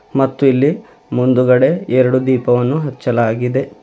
ಮತ್ತು ಇಲ್ಲಿ ಮುಂದುಗಡೆ ಎರಡು ದೀಪವನ್ನು ಹಚ್ಚಲಾಗಿದೆ.